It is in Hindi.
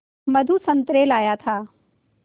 मधु संतरे लाया था